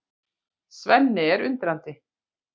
Svenni er undrandi.